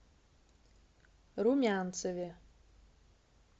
румянцеве